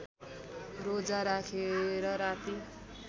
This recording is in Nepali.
रोजा राखेर राति